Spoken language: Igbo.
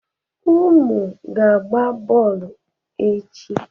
Ụmụ ga-agba bọọlụ echi.